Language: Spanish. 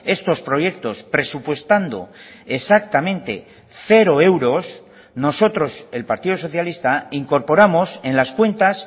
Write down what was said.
estos proyectos presupuestando exactamente cero euros nosotros el partido socialista incorporamos en las cuentas